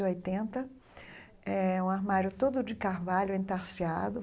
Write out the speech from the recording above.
e oitenta É um armário todo de carvalho entarciado.